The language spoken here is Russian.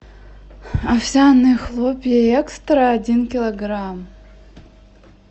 овсяные хлопья экстра один килограмм